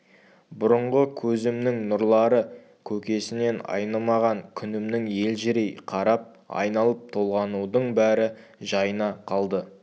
бұрынғы көзімнің нұрлары көкесінен айнымаған күнімнің елжірей қарап айналып-толғанудың бәрі жайына қалды